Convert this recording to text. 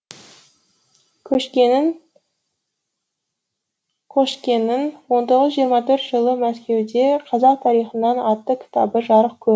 қошкенің қошкенің он тоғыз жүз жиырма төртінші жылы мәскеуден қазақ тарихынан атты кітабы жарық көр